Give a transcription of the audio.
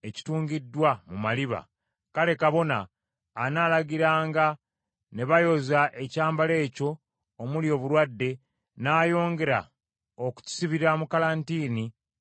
kale kabona anaalagiranga ne bayoza ekyambalo ekyo omuli obulwadde, n’ayongera okukisibira mu kalantiini ennaku endala musanvu.